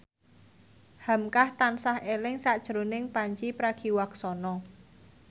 hamka tansah eling sakjroning Pandji Pragiwaksono